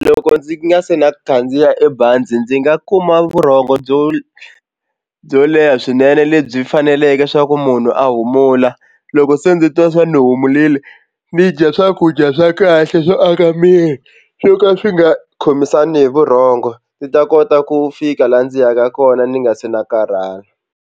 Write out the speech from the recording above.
Loko ndzi nga si na khandziya e bazi ndzi nga kuma vurhongo byo byo leha swinene lebyi faneleke swa ku munhu a humula loko se ndzi twa swa ni humurile ni dya swakudya swa kahle swo aka miri swo ka swi nga khomisana hi vurhongo ndzi ta kota ku fika laha ndzi yaka kona ni nga se na karhala.